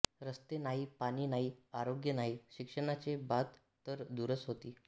रस्ते नाही पाणी नाही आरोग्य नाही शिक्षणाचे बात तर दूरच होती